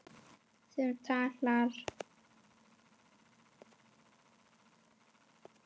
Sem talar.